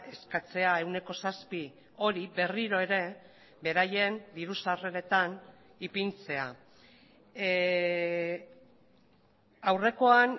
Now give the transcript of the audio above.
eskatzea ehuneko zazpi hori berriro ere beraien diru sarreretan ipintzea aurrekoan